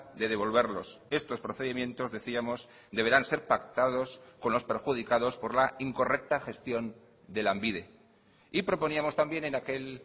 de devolverlos estos procedimientos decíamos deberán ser pactados con los perjudicados por la incorrecta gestión de lanbide y proponíamos también en aquel